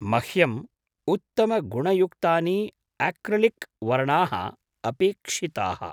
मह्यम् उत्तमगुणयुक्तानि आक्रिलिक् वर्णाः अपेक्षिताः।